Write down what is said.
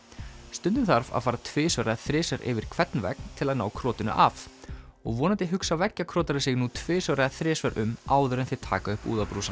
stundum þarf að fara tvisvar eða þrisvar yfir hvern vegg til að ná af og vonandi hugsa veggjakrotarar sig nú tvisvar eða þrisvar um áður en þeir taka upp